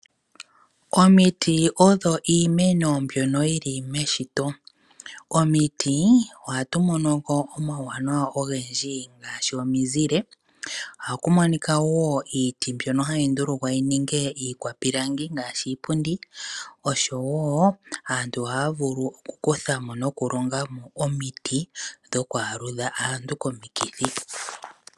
Omiti odho iimeno mbyono yili meshito. Omiti ohatu monoko omawuwanawa ogendji ngaashi omizile, ohakumonika wo iiti mbyono hayi ndulukwa yininge iikwapilangi ngaashi iipundi, osho wo aantu ohaya vulu okukuthamo nokulongamo omiti dhoku aludha aantu komikithi.